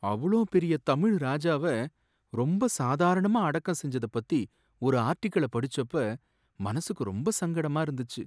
அவ்ளோ பெரிய தமிழ் ராஜாவ ரொம்பச் சாதாரணமா அடக்கம் செஞ்சதை பத்தி ஒரு ஆர்டிகிள படிச்சப்ப மனசுக்கு ரொம்ப சங்கடமா இருந்துச்சு.